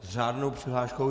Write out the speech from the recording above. S řádnou přihláškou.